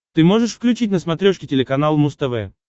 ты можешь включить на смотрешке телеканал муз тв